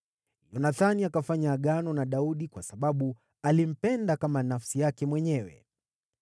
Yonathani akafanya agano na Daudi kwa sababu alimpenda kama nafsi yake mwenyewe.